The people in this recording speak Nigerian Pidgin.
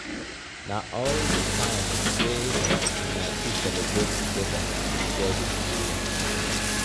na all di times wey una two celebrate togeda be shared experience.